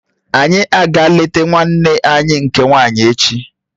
Anyi a ga eleta nwanne nne anyị nke nwaanyị echi?